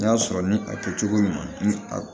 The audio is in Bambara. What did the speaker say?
N'i y'a sɔrɔ ni a kɛ cogo ɲuman ni a